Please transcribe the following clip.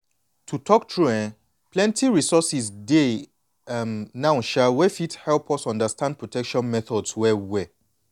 to talk true eh plenty resources dey um now um wey fit help us understand protection methods well well